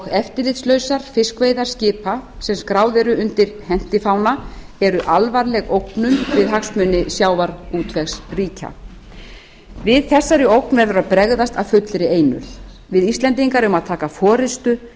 eftirlitslausar fiskveiðar skipa sem skráð eru undir hentifána eru alvarleg ógnun við hagsmuni sjávarútvegsríkja við þessari ógn verður að bregðast af fullri einurð við íslendingar eigum að taka forystu